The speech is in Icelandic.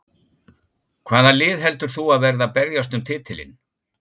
Hvaða lið heldur þú að verði að berjast um titilinn?